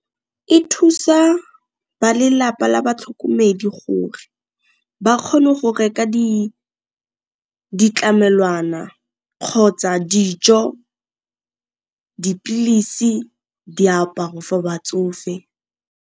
E thusa ba lelapa la batlhokomedi gore ba kgone go reka ditlamelwana kgotsa dijo, dipilisi, diaparo for batsofe.